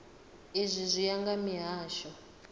izwi zwi ya nga mihasho